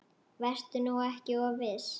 Vertu nú ekki of viss.